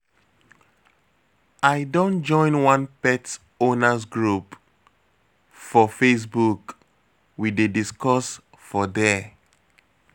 I don join one pet owners group for facebook, we dey discuss for there.